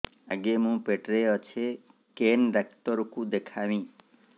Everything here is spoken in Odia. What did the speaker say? ଆଗୋ ମୁଁ ପେଟରେ ଅଛେ କେନ୍ ଡାକ୍ତର କୁ ଦେଖାମି